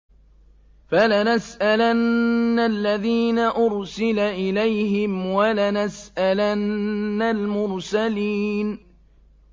فَلَنَسْأَلَنَّ الَّذِينَ أُرْسِلَ إِلَيْهِمْ وَلَنَسْأَلَنَّ الْمُرْسَلِينَ